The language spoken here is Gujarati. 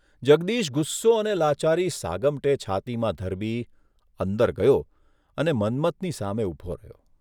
જગદીશ ગુસ્સો અને લાચારી સાગમટે છાતીમાં ધરબી અંદર ગયો અને મન્મથની સામે ઊભો રહ્યો.